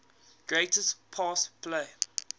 greatest pass play